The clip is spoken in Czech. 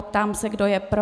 Ptám se, kdo je pro.